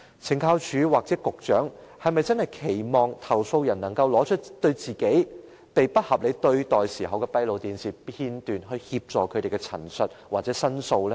懲教署或局長，是否真的期望投訴人可以拿出自己被不合理對待時的閉路電視片段，以協助證實他們的陳述或申訴呢？